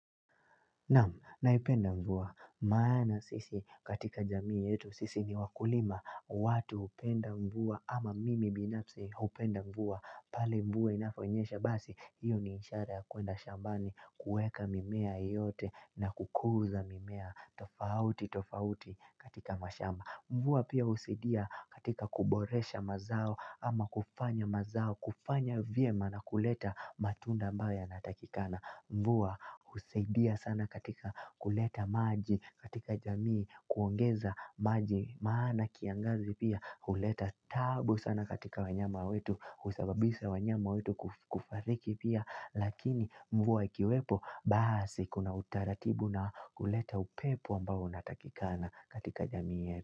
Naam naipenda mvua maana sisi katika jamii yetu sisi ni wakulima. Watu hupenda mvua ama mimi binafsi hupenda mvua. Pale mvua inaponyesha basi hiyo ni ishara ya kuenda shambani, kuweka mimea yote na kukuza mimea tofauti tofauti katika mashamba. Mvua pia husaidia katika kuboresha mazao ama kufanya mazao kufanya vyema na kuleta matunda ambayo yanatakikana. Mvua husaidia sana katika kuleta maji katika jamii, kuongeza maji maana kiangazi pia huleta taabu sana katika wanyama wetu, husababisha wanyama wetu kufariki pia. Lakini mvua ikiwepo basi kuna utaratibu na kuleta upepo ambao unatakikana katika jamii yetu.